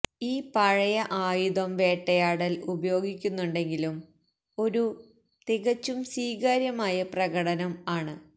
ഈ പഴയ ആയുധം വേട്ടയാടൽ ഉപയോഗിക്കുന്നുണ്ടെങ്കിലും ഒരു തികച്ചും സ്വീകാര്യമായ പ്രകടനം ആണ്